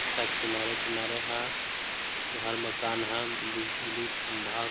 इसका किनारे-किनारे ह घर मकान ह बिजली खम्भा --